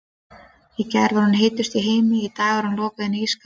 Í gær var hún heitust í heimi, í dag er hún lokuð inni í ísskáp.